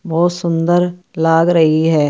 बहुत सुंदर लाग रही है।